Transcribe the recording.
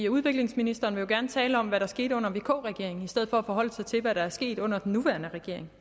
udviklingsministeren vil jo gerne tale om hvad der skete under vk regeringen i stedet for at forholde sig til hvad der er sket under den nuværende regering